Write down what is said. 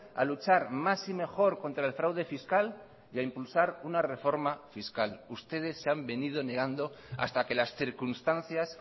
a luchar más y mejor contra el fraude fiscal y a impulsar una reforma fiscal ustedes se han venido negando hasta que las circunstancias